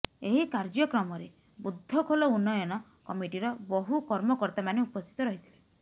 ଏହି କାର୍ଯ୍ୟକ୍ରମରେ ବୁଦ୍ଧଖୋଲ ଉନ୍ନୟନ କମିଟିର ବହୁ କର୍ମକର୍ତ୍ତା ମାନେ ଉପସ୍ଥିତ ରହିଥିଲେ